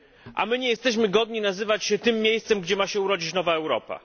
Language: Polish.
a my nie jesteśmy godni nazywać się tym miejscem, gdzie ma się urodzić nowa Europa.